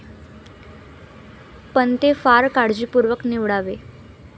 पण ते फार काळजीपूर्वक निवडावे.